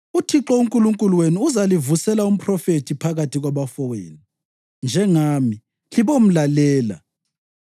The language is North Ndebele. UThixo uNkulunkulu wenu uzalivusela umphrofethi phakathi kwabafowenu njengami. Libomlalela.